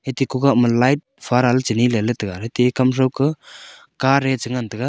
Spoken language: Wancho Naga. haite kugah ma light farah le chileley taga aate kam thau ka car eeh chi ngantaga.